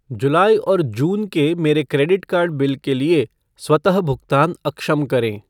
जुलाई और जून के मेरे क्रेडिट कार्ड बिल के लिए स्वतः भुगतान अक्षम करें।